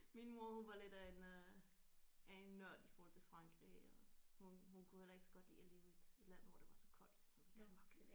Min mor hun var lidt af en øh af en nørd i forhold til Frankrig og hun hun kunne heller ikke så godt lide at leve i et land hvor der var så koldt som i Danmark